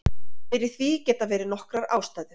Fyrir því geta verið nokkrar ástæður.